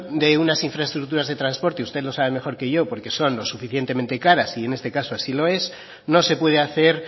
de unas infraestructuras de transporte usted lo sabe mejor que yo porque son lo suficientemente caras y en este caso así lo es no se puede hacer